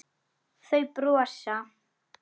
Þau brosa.